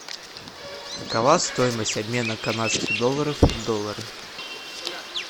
какова стоимость обмена канадских долларов в доллары